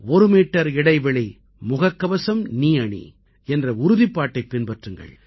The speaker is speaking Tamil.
ஒரு மீட்டர் இடைவெளி முகக்கவசம் நீ அணி என்ற உறுதிப்பாட்டைப் பின்பற்றுங்கள்